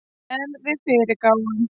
En við fyrirgáfum